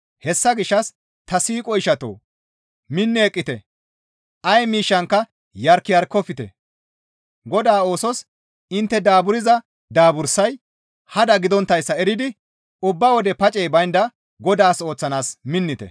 Hessa gishshas ta siiqo ishatoo! Minni eqqite; ay miishshankka yark yarkofte; Godaa oosos intte daaburza daabursay hada gidonttayssa eridi ubba wode pacey baynda Godaas ooththanaas minettite.